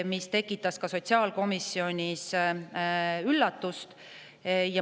See tekitas sotsiaalkomisjonis üllatust.